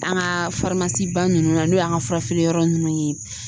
An ka ba ninnu na n'o y'an ka fura feere yɔrɔ ninnu ye